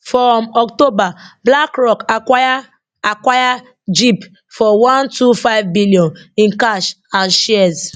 for um october blackrock acquire acquire gip for one two five billion in cash and shares